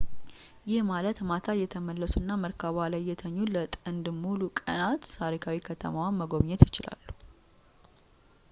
ይህ ማለት ማታ እየተመለሱና መርከቧ ላይ እየተኙ ለጥንድ ሙሉ ቀናት ታሪካዊ ከተማዋን መጎብኘት ይችላሉ